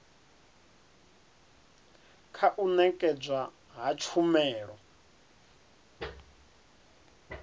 kha u nekedzwa ha tshumelo